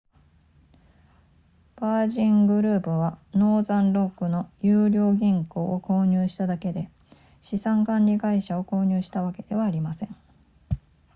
ヴァージングループはノーザンロックの優良銀行を購入しただけで資産管理会社を購入したわけではありません